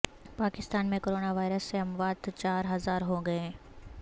پاکستان میں corona virus سے اموات چار ہزار ہو گئیں